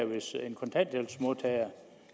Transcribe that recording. hvis en kontanthjælpsmodtager